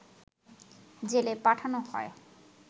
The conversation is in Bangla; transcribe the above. জেলে পাঠানো হয়